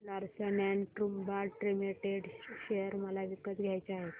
Larsen and टुर्बो limited share मला विकत घ्यायचे आहेत